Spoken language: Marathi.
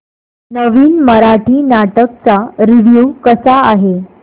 नवीन मराठी नाटक चा रिव्यू कसा आहे